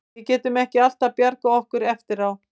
Við getum ekki alltaf bjargað okkur eftir á.